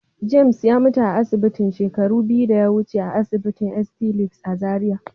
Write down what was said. "James" ya mutu a asibitin shekaru biyu da ya wuce a asinitin st. Luke's" a Zaria.